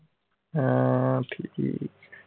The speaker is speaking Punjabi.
ਹਾਂ ਠੀਕ ਐ।